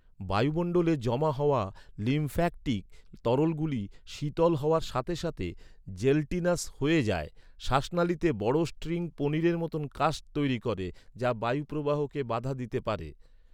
বায়ুমণ্ডলে জমা হওয়া লিম্ফ্যাটিক তরলগুলি, শীতল হওয়ার সাথে সাথে জেলটিনাস হয়ে যায়। শ্বাসনালীতে বড় স্ট্রিং পনিরের মতো কাস্ট তৈরি করে, যা বায়ুপ্রবাহকে বাধা দিতে পারে।